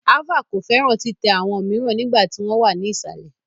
Ava ko fẹran titẹ awọn miiran nigba ti wọn wa ni isalẹ